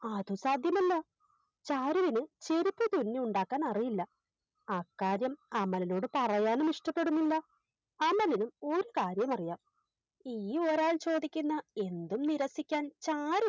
അത് സാധ്യമല്ല ചാരുവിന് ചെരുപ്പ് തുന്നിയുണ്ടാക്കാൻ അറിയില്ല അക്കാര്യം അമലിനോട് പറയാനും ഇഷ്ടപ്പെടുന്നില്ല അമലിനും ഒരു കാര്യമറിയാം ഇനിയൊരാൾ ചോദിക്കുന്ന എന്തും നിരസിക്കാൻ ചാരു